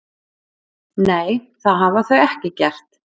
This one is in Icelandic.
Nei, það hafa þau ekki gert